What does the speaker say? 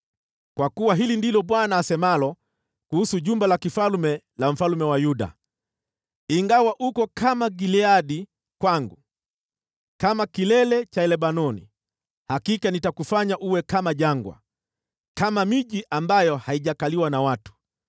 Kwa kuwa hili ndilo Bwana asemalo kuhusu jumba la kifalme la mfalme wa Yuda: “Ingawa uko kama Gileadi kwangu, kama kilele cha Lebanoni, hakika nitakufanya uwe kama jangwa, kama miji ambayo haijakaliwa na watu.